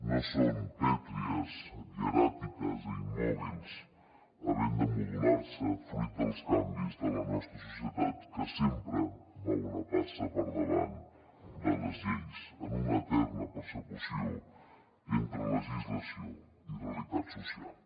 no són pètries hieràtiques i immòbils havent de modular se fruit dels canvis de la nostra societat que sempre va una passa per davant de les lleis en una eterna persecució entre legislació i realitat social